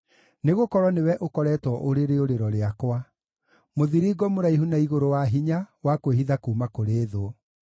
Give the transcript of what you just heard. Nĩgũkorwo nĩwe ũkoretwo ũrĩ rĩũrĩro rĩakwa, mũthiringo mũraihu na igũrũ wa hinya wa kwĩhitha kuuma kũrĩ thũ.